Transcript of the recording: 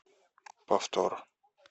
повтор